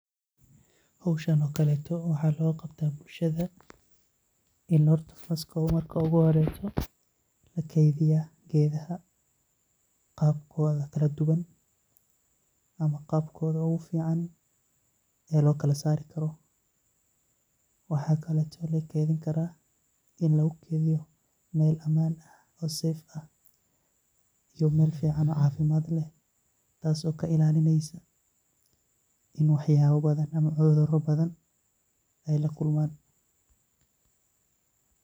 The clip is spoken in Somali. Howshan oo kale waxaa loo qabtaa bulshada, in horta marka oo gu horeyso lakeediya geedaha qabkooda kala duban ama qabkooda oogu fican, ee loo kala saari karo, waxaa kaleeto oo lakeedin karaa in lagu keediyo meel amaan ah oo [safe]ah, iyo meel fican oo cafimaad leh, taas oo ka ilaalineysa in wax yaaba badan ama cudura badan aay lakulmaan.